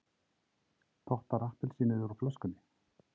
Tottar appelsínið úr flöskunni.